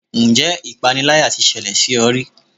Ǹjẹ́ ipániláyà tí ṣẹlẹ̀ sí ọ rí?